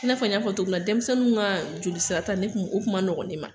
I n'a n y'a fɔ cogo min na denmisɛnninw ka jolisirata ne tun o kuma nɔgɔn ne ma.